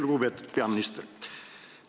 Lugupeetud peaminister!